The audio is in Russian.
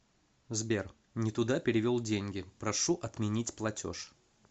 сбер нетуда перевел деньги прошу отменить платеж